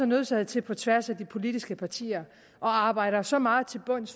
nødsaget til på tværs af de politiske partier at arbejde os så meget til bunds